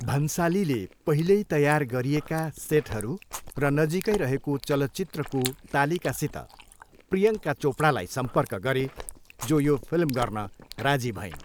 भन्सालीले पहिल्यै तयार गरिएका सेटहरू र नजिकै रहेको चलचित्रको तालिकासित प्रियङ्का चोपडालाई सम्पर्क गरे जो यो फिल्म गर्न राजी भइन्।